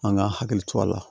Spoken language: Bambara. An ka hakili to a la